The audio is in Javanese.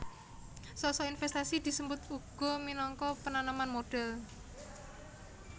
Sok sok invèstasi disebut uga minangka penanaman modhal